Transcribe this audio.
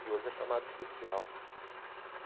que hoje é chamado especial.